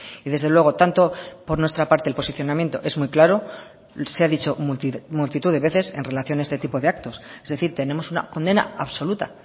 y desde luego tanto por nuestra parte el posicionamiento es muy claro se ha dicho multitud de veces en relación a este tipo de actos es decir tenemos una condena absoluta